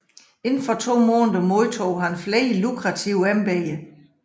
Inden for to måneder modtog han flere lukrative embeder